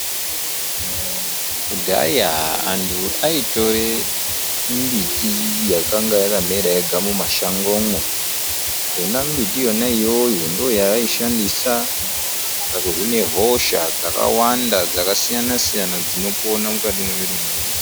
Kudhaya anthu aitore mimbiti yakanga yakamera yega mumashangomwo yona mimbitiyo ndiyo yavaishandisa pakuhina hosha dzakawanda dzakasiyana siyana dzinopona mukati memwiri mwedu.